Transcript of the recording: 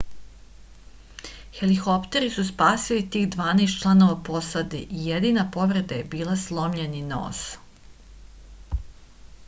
helikopteri su spasili tih dvanaest članova posade i jedina povreda je bila slomljeni nos